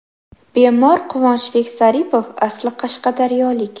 Bemor Quvonchbek Zaripov asli Qashqadaryolik.